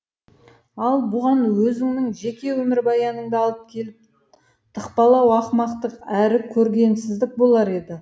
ал бұған өзіңнің жеке өмірбаяныңды алып келіп тықпалау ақымақтық әрі көргенсіздік болар еді